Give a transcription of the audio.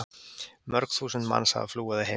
Mörg þúsund manns hafa flúið að heiman.